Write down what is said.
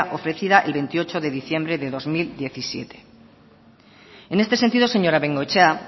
ofrecida el veintiocho de diciembre de dos mil diecisiete en este sentido señora bengoechea